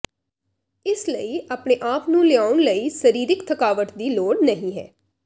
ਇਸ ਲਈ ਆਪਣੇ ਆਪ ਨੂੰ ਲਿਆਉਣ ਲਈ ਸਰੀਰਕ ਥਕਾਵਟ ਦੀ ਲੋੜ ਨਹੀ ਹੈ